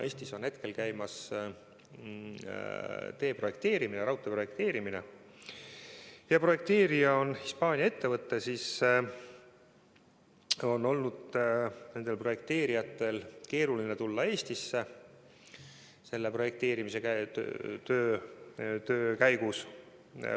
Eestis on hetkel käimas raudtee projekteerimine, ent kuna projekteerija on Hispaania ettevõte, on tal olnud keeruline projekteerimistöö käigus Eestisse tulla.